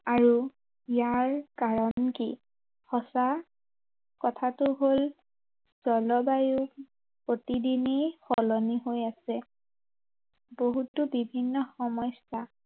আৰু, ইয়াৰ কাৰণ কি? সঁচা কথাটো হল, জলবায়ু প্ৰতিদিনেই সলনি হৈ আছে। বহুতো বিভিন্ন সমস্য়া